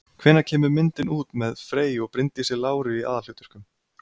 Hvenær kemur bíómyndin út með Frey og Bryndísi Láru í aðalhlutverkum?